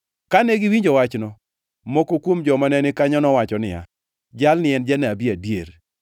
Kane giwinjo wachno, moko kuom joma ne ni kanyo nowacho niya, “Jalni en janabi adier.”